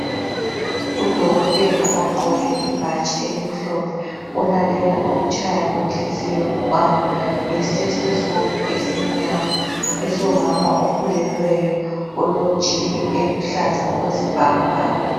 Udokotela ogqoke ibhatshi elimhlophe elalela ukutshaya kwenhliziyo yomntwana ngestetoscope esimnyama esikamama okhulelweyo, olesiketi esombala oluhlaza okwesibhakabhaka.